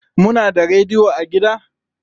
Muna da rediyo a gida?